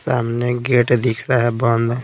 सामने गेट दिख रहा है बंद--